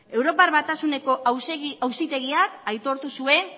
europar batasuneko auzitegiak aitortu zuen